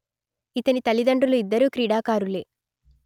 ఇతని తల్లిదండ్రులు ఇద్దరూ క్రీడాకారులే